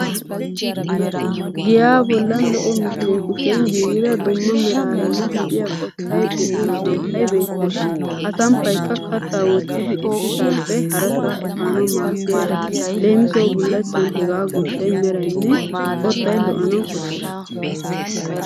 Giyaa bollan lo'o mishiree kushiyan giigida dumma meraaranne lo'iyaa qottay de'iyo samppay beettes. Ha samppaykka kattaa wottidi issisaappe harasaa efanawu maaddiyaagaa leemisuwawu bullachan hegaa goshshay merayinne qottay lo'anawu koshshes.